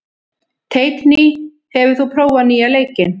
Teitný, hefur þú prófað nýja leikinn?